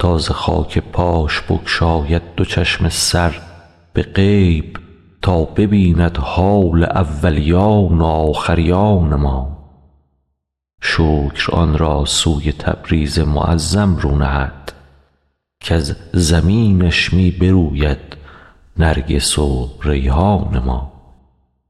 تا ز خاک پاش بگشاید دو چشم سر به غیب تا ببیند حال اولیان و آخریان ما شکر آن را سوی تبریز معظم رو نهد کز زمینش می بروید نرگس و ریحان ما